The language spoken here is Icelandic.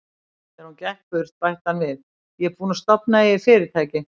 Þegar hún gekk burt, bætti hann við: Ég er búinn að stofna eigið fyrirtæki.